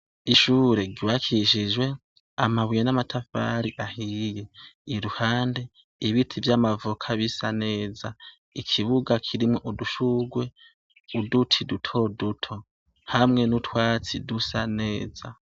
Ishure ryubakishijwe amabuye namatafari ahiye iruhande ibiti vyamavoka bisa neza ikibuga kirimwo udushurwe uduti duto duto hamwe nutwatsi dusa neza